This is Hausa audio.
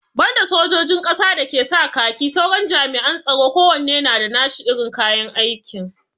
Banda sojin ƙasa da ke sa kaki, sauran jami'an tsaron kowanne na da nashi irin kayan aikin.